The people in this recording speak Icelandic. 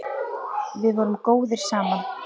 Við vorum góðir saman.